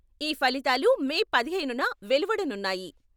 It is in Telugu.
ఈ ఫలితాలు మే పదిహేనున వెలువడనున్నాయి.